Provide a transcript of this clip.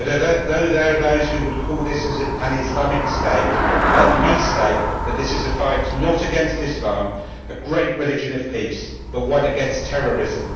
Although there are those who would call this an Islamic State, let me state that this is a fight not against Islam, a great religion of peace, but one against terrorism.